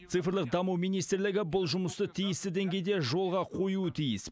цифрлық даму министрлігі бұл жұмысты тиісті деңгейде жолға қоюы тиіс